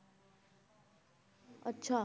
ਅੱਛਾ।